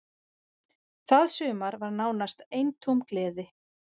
Það sumar var nánast eintóm gleði.